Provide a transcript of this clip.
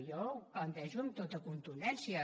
jo ho plantejo amb tota contundència